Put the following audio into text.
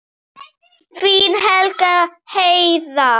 Þín, Katrín Heiða.